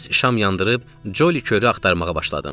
Tez şam yandırıb, Joli Körü axtarmağa başladım.